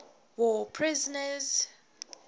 war prisoners